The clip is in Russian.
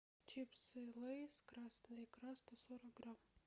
чипсы лейс красная икра сто сорок грамм